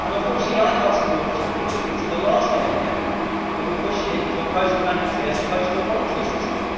Unfortunately I cannot support this report because of the last minute amendment that was pushed in to impose a mandatory as opposed to voluntary system.